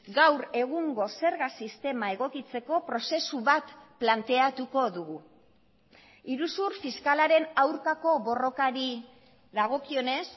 gaur egungo zerga sistema egokitzeko prozesu bat planteatuko dugu iruzur fiskalaren aurkako borrokari dagokionez